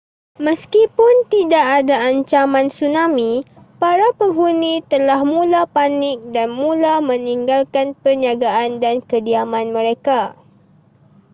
meskipun tidak ada ancaman tsunami para penghuni telah mula panik dan mula meninggalkan perniagaan dan kediaman mereka